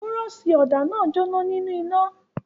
Búrọ́ṣì ọ̀dà náà jóná nínú iná.